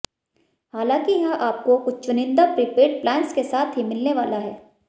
हालाँकि यह आपको कुछ चुनिन्दा प्रीपेड प्लान्स के साथ ही मिलने वाला है